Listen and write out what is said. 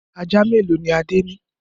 Ajá mélòó ni Adé ní?